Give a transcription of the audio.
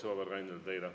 See kohe tuuakse teile.